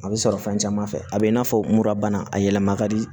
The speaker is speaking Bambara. A bɛ sɔrɔ fɛn caman fɛ a bɛ i n'a fɔ murabana a yɛlɛma ka di